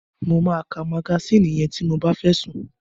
Mo máa magasínì yẹn ti mo bá fẹ́ sùn.